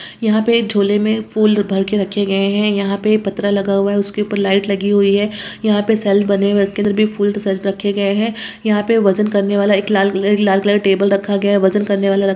यहाँ पे झोले में फूल भर के रखे गए हैं यहाँ पे पत्रा लगा हुआ है उसके ऊपर लाइट लगी हुई है यहाँ पे सेल्स बने हुए हैं उसके अंदर भी फूल सज रखे गए हैं यहाँ पे वजन करने वाला एक लाल कलर एक लाल कलर का टेबल रखा गया है वजन करने वाला --